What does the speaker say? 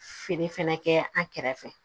Feere fɛnɛ kɛ an kɛrɛfɛ